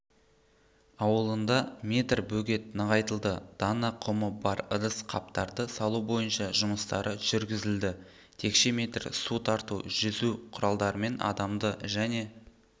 ауылында метр бөгет нығайтылды дана құмы бар ыдыс-қаптарды салу бойынша жұмыстары жүргізілді текше метр су тарту жүзу құралдарымен адамды және